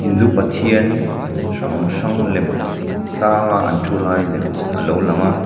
hindu pathian hrang hrang lem tlang a an thu lai lem alo lang a.